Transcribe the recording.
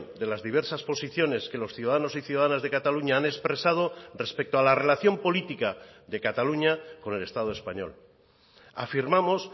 de las diversas posiciones que los ciudadanos y ciudadanas de cataluña han expresado respecto a la relación política de cataluña con el estado español afirmamos